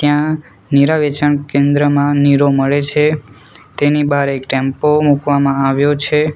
ત્યાં નીરા વેચાણ કેન્દ્રમાં નીરો મળે છે તેની બહાર એક ટેમ્પો મુકવામાં આવ્યો છે.